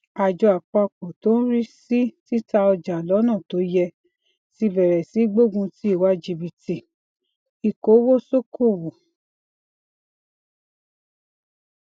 ajọ àpapọ tó ń rí sí tita ọja lọna to yẹ ti bèrè sí í gbógun ti ìwà jibiti ikowosokowo